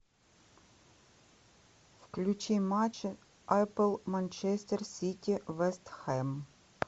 включи матч апл манчестер сити вест хэм